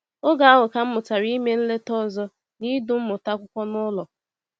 “Oge ahụ ka m mụtara ime nleta ọzọ na idu mmụta akwụkwọ n’ụlọ.”